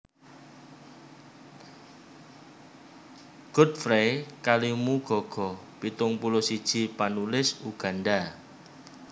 Godfrey Kalimugogo pitung puluh siji panulis Uganda